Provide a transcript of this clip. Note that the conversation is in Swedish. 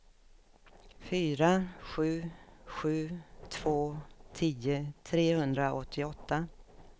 fyra sju sju två tio trehundraåttioåtta